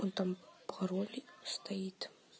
он там пароль стоит